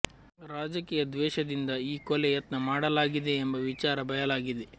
ರಾಜಕೀಯ ದ್ವೇಷದಿಂದ ಈ ಕೊಲೆ ಯತ್ನ ಮಾಡಲಾಗಿದೆ ಎಂಬ ವಿಚಾರ ಬಯಲಾಗಿದೆ